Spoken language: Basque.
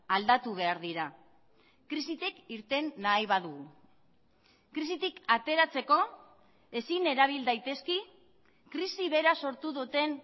aldatu behar dira krisitik irten nahi badugu krisitik ateratzeko ezin erabil daitezke krisi bera sortu duten